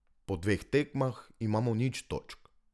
Po dveh tekmah imamo nič točk.